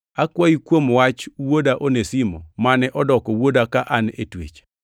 akwayi kuom wach wuoda Onesimo mane odoko wuoda ka an e twech.